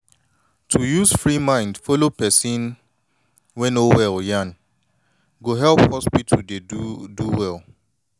to use free mind take follow person wey no well yan go help hospital dey do do well